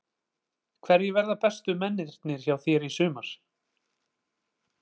Hverjir verða bestu mennirnir hjá þér í sumar?